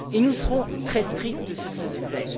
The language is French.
Et nous serons très stricts sur ce sujet.